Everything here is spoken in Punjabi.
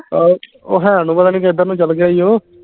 ਉਹ ਉਹ ਹੈ ਨੂੰ ਪਤਾ ਨੀ ਕਿੱਧਰ ਨੂੰ ਚਲ ਗਿਆ ਈ ਓ